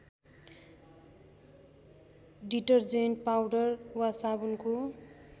detergent powder वा साबुनको